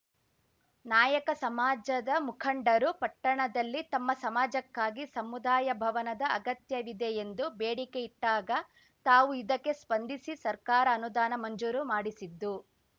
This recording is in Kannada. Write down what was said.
ನಾಯಕ ಸಮಾಜದ ಮುಖಂಡರು ಪಟ್ಟಣದಲ್ಲಿ ತಮ್ಮ ಸಮಾಜಕ್ಕಾಗಿ ಸಮುದಾಯ ಭವನದ ಅಗತ್ಯವಿದೆ ಎಂದು ಬೇಡಿಕೆ ಇಟ್ಟಾಗ ತಾವು ಇದಕ್ಕೆ ಸ್ಪಂದಿಸಿ ಸರ್ಕಾರ ಅನುದಾನ ಮಂಜೂರು ಮಾಡಿಸಿದ್ದು